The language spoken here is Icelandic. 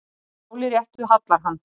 Máli réttu hallar hann,